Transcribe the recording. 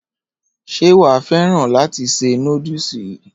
Ṣé wa fẹ́ràn láti ṣe noodles yìí?